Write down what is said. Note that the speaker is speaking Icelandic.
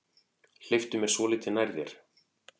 Hleyptu mér svolítið nær þér.